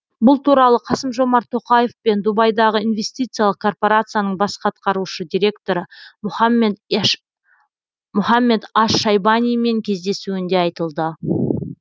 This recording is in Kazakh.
бұл туралы қасым жомарт тоқаев пен дубайдағы инвестициялық корпорацияның бас атқарушы директоры мұхаммед аш шайбанимен кездесуінде айтылды